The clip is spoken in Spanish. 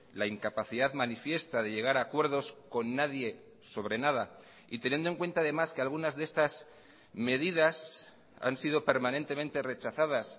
la incapacidad manifiesta de llegar a acuerdos con nadie sobre nada y teniendo en cuenta además que algunas de estas medidas han sido permanentemente rechazadas